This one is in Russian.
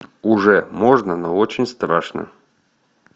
уже можно но очень страшно